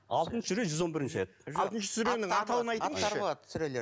алтыншы сүре жүз он бірінші аят алтыншы сүренің атауын айтыңызшы